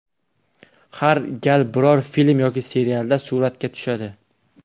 Har gal biror film yoki serialda suratga tushadi.